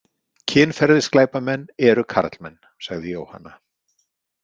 Kynferðisglæpamenn eru karlmenn, sagði Jóhanna.